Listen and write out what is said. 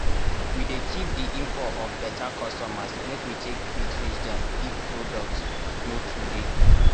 we dey keep di info of beta customers make we take fit reach dem if products no too dey.